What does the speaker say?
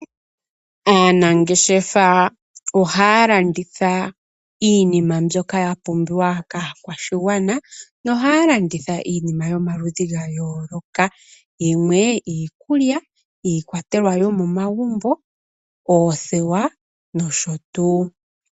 Aanangeshefa ohaya landitha iinima mbyoka ya pumbiwa kaakwashigwana nohaya landitha iinima yomaludhi ga yooloka, yimwe iikulya, iikwatelwa yomomagumbo, oothewa nosho tuu.